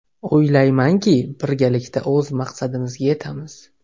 O‘ylaymanki, birgalikda o‘z maqsadimizga yetamiz.